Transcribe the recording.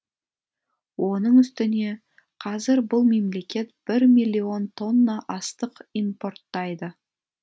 оның үстіне қазір бұл мемлекет бір миллион тонна астық импорттайды